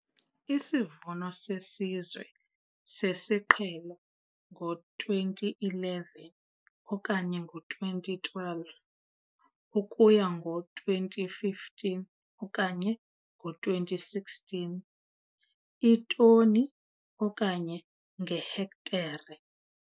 Isivuno seSizwe sesiQhelo ngo-2011 okanye ngo-2012 ukuya ngo-2015 okanye ngo-2016, iitoni okanye ngehektare.